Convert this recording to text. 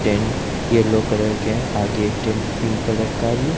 Tent yellow colour के है आगे एक टेंट पिंक कलर का भी है।